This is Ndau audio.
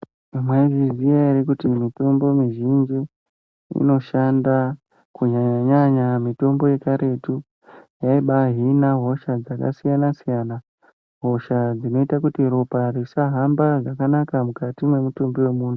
Mwaizviziya ere kuti mitombo mizhinji inoshanda kunyanyanya mitombo yekaretu yaibahina hosha dzakasiyana siyana , hosha dzinoita kuti ropa risahamba zvakanaka mukati mwemutumbi wemuntu.